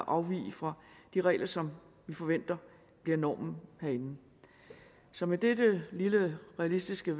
afvige fra de regler som vi forventer bliver normen herinde så med denne lille realistiske